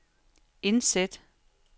indsæt